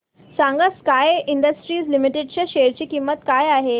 सांगा Sky Industries Limited च्या share ची किंमत काय आहे